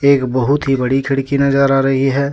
एक बहुत ही बड़ी खिड़की नजर आ रही है।